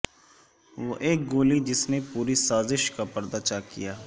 وہ ایک گولی جس نے پوری سازش کا پردہ چاک کیا